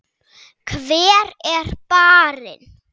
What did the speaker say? Hver er barinn?